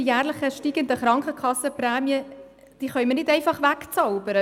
Die jährlich steigenden Krankenkassenprämien können wir nicht einfach wegzaubern.